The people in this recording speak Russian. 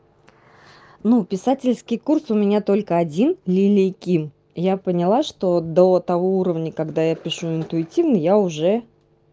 ну писательский курс у меня только один лилии ким я поняла что до того уровня когда я пишу интуитивно я уже